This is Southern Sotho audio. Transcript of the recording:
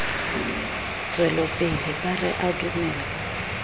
tswelopele ba re a dumellwe